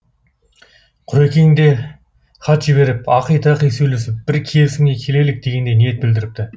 құрекең де хат жіберіп ақи тақи сөйлесіп бір келісімге келелік дегендей ниет білдіріпті